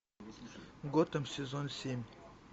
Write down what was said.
готэм сезон семь